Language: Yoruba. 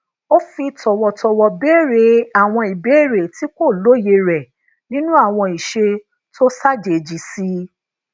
ó fi tòwòtòwò béèrè àwọn ìbéèrè ti ko lóye re ninu awon ise tó ṣàjèjì sí i